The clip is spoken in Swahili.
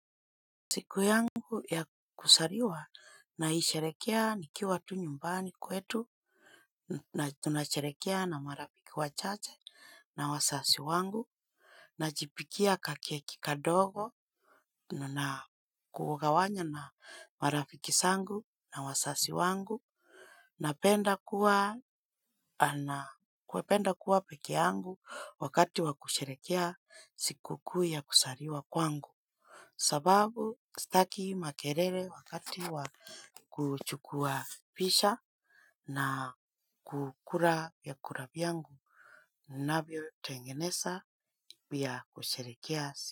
Siku yangu ya kuzaliwa naisherehekea nikiwa tu nyumbani kwetu na tunasherekea na marafiki wachache na wazazi wangu. Najipikia kakeki kadogo na kugawanya na marafiki zangu na wazazi wangu. Napenda kuwa pekee yangu wakati wa kusherehekea sikukuu ya kuzaliwa kwangu. Sababu staki makelele wakati wa kuchukua picha na kukula vyakula vyangu navyotengeneza pia kusherehekea.